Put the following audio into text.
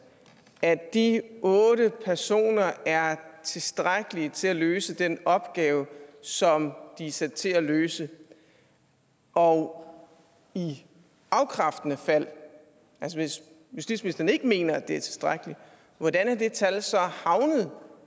at de otte personer er tilstrækkeligt til at løse den opgave som de er sat til at løse og i afkræftende fald altså hvis justitsministeren ikke mener det er tilstrækkeligt hvordan er det tal så havnet